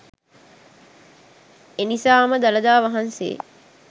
එනිසාම දළදා වහන්සේ